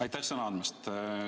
Aitäh sõna andmast!